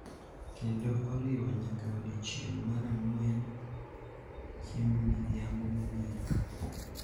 Kendo oriwo nyaka odiechieng’ mar Ang’wen (Chiemb Midhiambo Mogik)